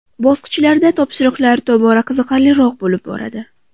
Bosqichlarda topshiriqlar tobora qiziqarliroq bo‘lib boradi.